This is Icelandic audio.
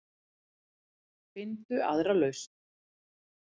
Finndu aðra lausn.